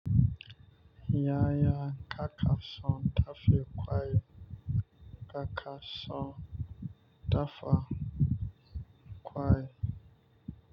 Yaya kaka son dafe kwa yi kaka son dafa kwa yi.